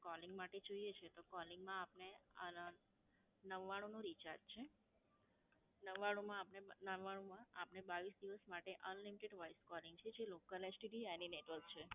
Calling માટે જોઈએ છે, તો Calling માં આપને અમ નવાણુંનું Recharge છે. નવાણુંમાં આપને નવાણુંમાં આપને બાવીસ દિવસ માટે Unlimited Voice Calling છે, જે લોકલ STDAny Network છે.